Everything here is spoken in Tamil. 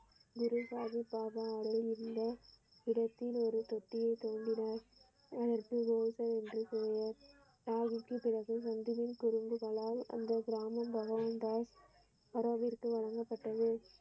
குரு பாபா அறையில் உள்ள இடத்தில் ஒரு தொட்டியை தூண்டினார் அதற்கு ரோஷன் என்று கூறுவார் சாகிப்பின் பிறகு நந்தினியின் குறும்புகளால் அந்த கிராமம வரவேற்பு வழங்கப்பட்டது.